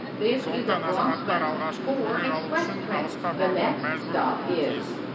сондықтан азаматтар алғашқы көмек алу үшін алысқа баруға мәжбүр болмауы тиіс